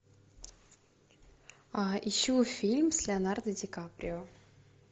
ищу фильм с леонардо ди каприо